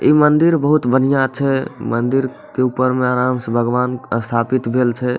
इ मंदिर बहुत बढ़िया छै मंदिर के ऊपर में आराम से भगवान स्थापित भेल छै।